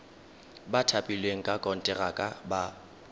ba thapilweng ka konteraka ba